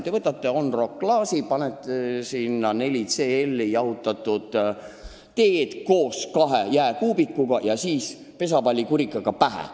Te võtate on the rock klaasi, panete sinna 4 sentiliitrit jahutatud teed koos kahe jääkuubikuga ja siis lööte joojale pesapallikurikaga pähe.